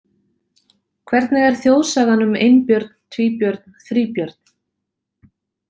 Hvernig er þjóðsagan um Einbjörn Tvíbjörn Þríbjörn?